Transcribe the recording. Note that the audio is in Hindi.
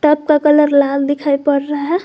टब का कलर लाल दिखाई पड़ रहा है।